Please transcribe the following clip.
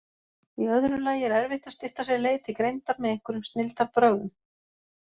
Í öðru lagi er erfitt að stytta sér leið til greindar með einhverjum snilldarbrögðum.